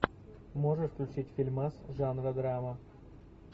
можешь включить фильмас жанра драма